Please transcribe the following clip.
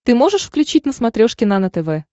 ты можешь включить на смотрешке нано тв